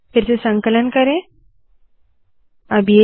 फिर से संकलन करते है